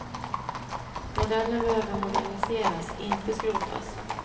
Modellen behöver moderniseras, inte skrotas.